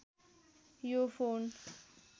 यो फोन